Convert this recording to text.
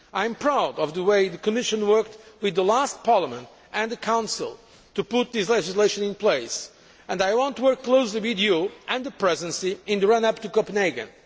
I am proud of the way the Commission worked with the last Parliament and the Council to put this legislation in place, and I want to work closely with you and the Presidency in the run up to Copenhagen.